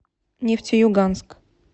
нефтеюганск